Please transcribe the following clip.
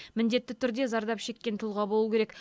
міндетті түрде зардап шеккен тұлға болу керек